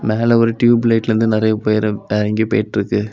மேல ஒரு டியூப் லைட்ல இருந்து நெறய பேரு டேங்கி போயிட்ருக்கு.